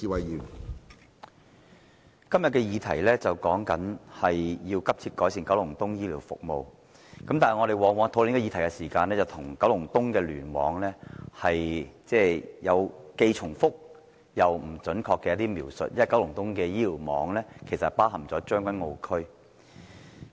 主席，今天的議題是"急切改善九龍東公營醫療服務"，但我們在討論這議題時，往往對九龍東聯網有既重複又不準確的描述，因為九龍東的醫院聯網也包括將軍澳區。